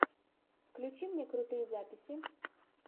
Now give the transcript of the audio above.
включи мне крутые записи